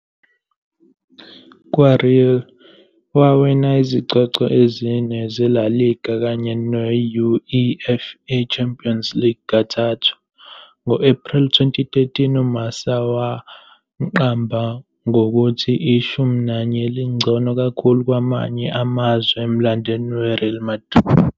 KwaReal, wawina izicoco ezine zeLa Liga kanye ne -UEFA Champions League kathathu. Ngo-Ephreli 2013, "uMarca" wamqamba ngokuthi "Ishumi Nanye Elingcono Kakhulu Kwamanye Amazwe Emlandweni WeReal Madrid ".